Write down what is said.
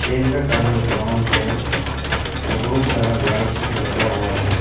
का colour brown है और बहुत सारा लाइट्स भी लगा हुआ है।